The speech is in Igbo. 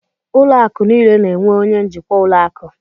Ụlọ akụ̀ niile na-enwe onye njikwa ụlọ akụ.